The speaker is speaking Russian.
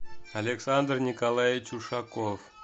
александр николаевич ушаков